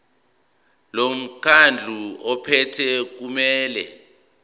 lomkhandlu ophethe kumele